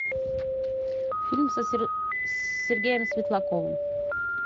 фильм с сергеем светлаковым